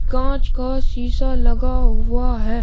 कांच का शीशा लगा हुआ है।